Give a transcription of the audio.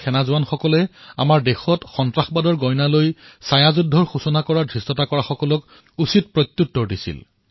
সন্ত্ৰাসবাদীসকলে আমাৰ দেশত সূচনা কৰা প্ৰক্সি যুদ্ধৰ প্ৰত্যুত্তৰ আমাৰ সৈন্যই দিছিল